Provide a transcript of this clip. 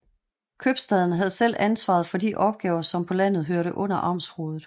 Købstaden havde selv ansvaret for de opgaver som på landet hørte under amtsrådet